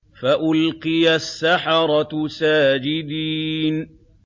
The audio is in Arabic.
فَأُلْقِيَ السَّحَرَةُ سَاجِدِينَ